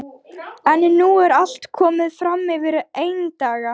En nú er allt komið fram yfir eindaga.